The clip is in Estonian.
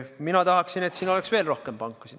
Mina tahaksin, et siin oleks veel rohkem pankasid.